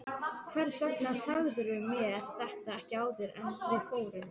Hvers vegna sagðirðu mér þetta ekki áður en við fórum?